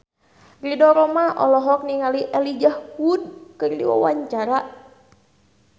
Ridho Roma olohok ningali Elijah Wood keur diwawancara